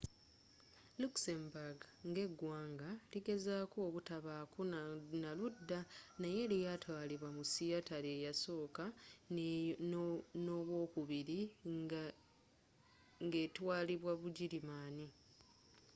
luxembourg nga eggwanga ligezezaako obutabaako na ludda naye lyaatwalibwa mu sseatalo eyasooka n'owookubiri ng'etwaalibwa bugirimaani